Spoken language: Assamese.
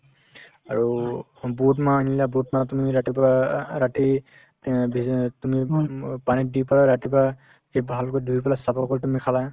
আৰু বুটমাহ আনিলা বুটমাহ তুমি ৰাতিপুৱা অ ৰাতি তিয় ভিজাত তুমি উম পানীত দি পেলাই ৰাতিপুৱা সেই ভালকৈ ধুই পেলাই চাফা কৰি তুমি খালা